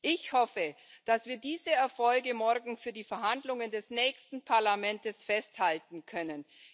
Ich hoffe, dass wir diese Erfolge morgen für die Verhandlungen des nächsten Parlaments festhalten können.